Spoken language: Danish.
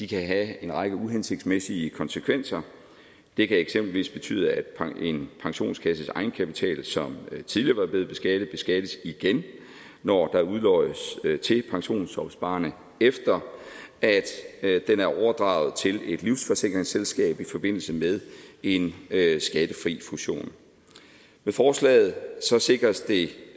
kan have en række uhensigtsmæssige konsekvenser det kan eksempelvis betyde at en pensionskasses egenkapital som tidligere var blevet beskattet beskattes igen når der udloddes til pensionsopsparerne efter at den er overdraget til et livsforsikringsselskab i forbindelse med en skattefri fusion med forslaget sikres